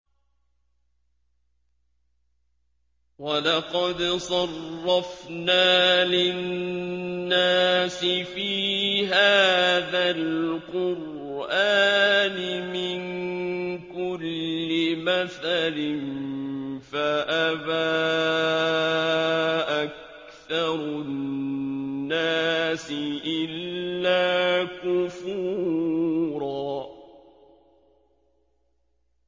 وَلَقَدْ صَرَّفْنَا لِلنَّاسِ فِي هَٰذَا الْقُرْآنِ مِن كُلِّ مَثَلٍ فَأَبَىٰ أَكْثَرُ النَّاسِ إِلَّا كُفُورًا